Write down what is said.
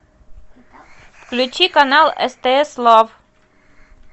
включи канал стс лав